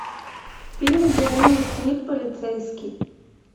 фильм где уилл смит полицейский